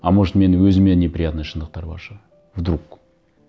а может менің өзіме неприятный шындықтар бар шығар вдруг